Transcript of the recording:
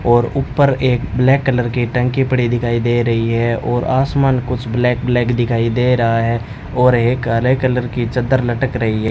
और ऊपर एक ब्लैक कलर की टंकी पड़ी दिखाई दे रही है और आसमान कुछ ब्लैक ब्लैक दिखाई दे रहा है और एक हरे कलर की चद्दर लटक रही है।